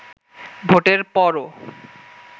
ভোটের পরও